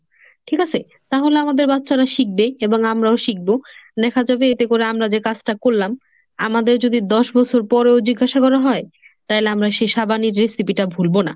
ঠিক আসে তাহলে আমাদের বাচ্চারা শিখবে এবং আমরাও শিখব। দেখা যাবে এতে করে আমরা যে কাজটা করলাম, আমাদের যদি দশ বছর পরেও জিজ্ঞাসা করা হয় তাইলে আমরা সেই সাবানের recipe টা ভুলব না।